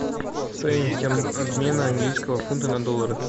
стоимость обмена английского фунта на доллары